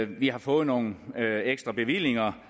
vi har fået nogle ekstra bevillinger